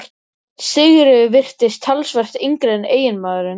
Sigríður virtist talsvert yngri en eiginmaðurinn.